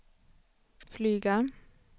flyga